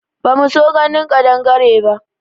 Ba mu so ganin ƙadangare ba